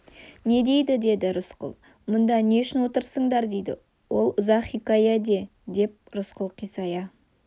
не дейді деді рысқұл мұнда не үшін отырсыңдар дейді ол ұзақ хикая де деп рысқұл қисая